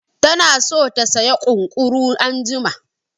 Tana so ta saya ƙunƙuru anjima